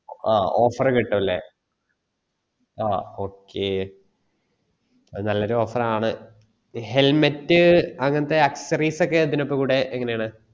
ആ offer കിട്ടും അല്ലെ ആ okay അത് നല്ലൊരു offer ആണ helmet അങ്ങനത്തെ accessories ഒക്കെ ഇതിൻ്റെ കൂടെ എങ്ങനാണ്